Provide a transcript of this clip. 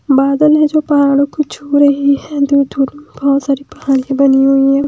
बादल में जो पहाड़ों को छू रही है बहोत सारे पहाड़ की बनी हुई है।